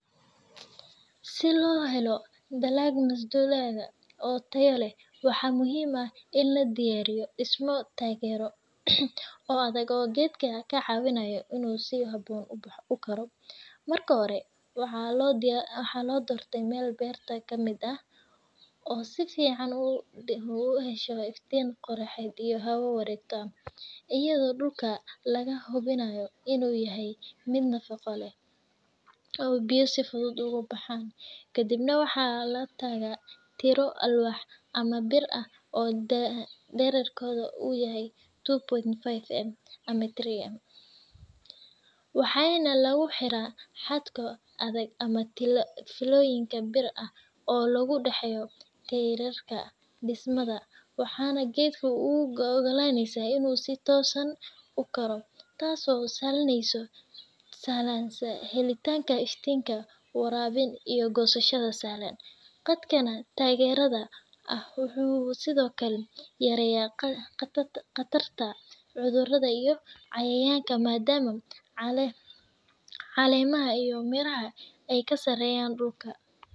Si loo helo dalag masdulaag oo tayo leh, waxaa muhiim ah in la diyaariyo dhismayaal taageero oo adag oo geedka ka caawiya inuu si habboon u koro. Marka hore, waxaa la doortaa meel beerta ka mid ah oo si fiican u hesha iftiin qoraxeed iyo hawo wareegto, iyadoo dhulka laga hubinayo inuu yahay mid nafaqo leh oo biyo si fudud uga baxaan. Kadibna, waxaa la taagaa tiirro alwaax ama bir ah oo dhererkoodu yahay two point five m ilaa three m , waxaana lagu xiraa xadhko adag ama fiilooyin bir ah oo u dhexeeya tiirarka. Dhismadan waxay geedka u oggolaanaysaa inuu si toosan u koro, taasoo sahleysa helitaanka iftiin, waraabin, iyo goosasho sahlan. Qaabkan taageerada ah wuxuu sidoo kale yareeyaa khatarta cudurrada iyo cayayaanka maadaama caleemaha iyo miraha ay ka sarreeyaan dhulka.